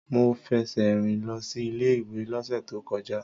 Mo fẹsẹ̀ rìn lọ sí ilé-ìwé lọ́sẹ̀ tó kọjá.